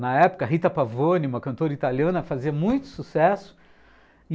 Na época, Rita Pavone, uma cantora italiana, fazia muito sucesso.